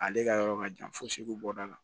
Ale ka yɔrɔ ka jan fo segu bɔ da la